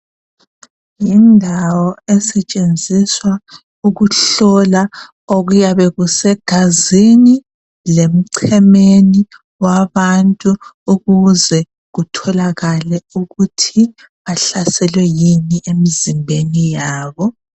Yindawo esetshenziswa ukuhlola okuyabe kusegazini lemchemeni wabantu ukuze kutholakala ukuthi bahlaselwe yini emzimbeni yabo.